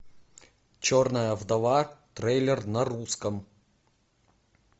черная вдова трейлер на русском